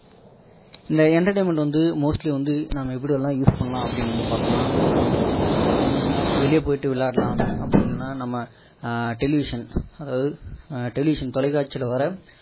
இந்த entertainment வந்து mostly வந்து நம்ம எப்படியெல்லாம் use பண்ணலாம் அப்படி நம்ம பார்த்தோம்னா ஒண்ணு வெளிய போயிட்டு விளையாடலாம் அப்படி இல்லன்னா அப்படி இல்லன்னா நம்ம television அதாவது television தொலைகாட்சில வர